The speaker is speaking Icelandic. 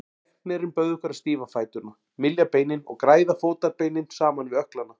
Læknirinn bauð okkur að stífa fæturna, mylja beinin og græða fótarbeinin saman við ökklana.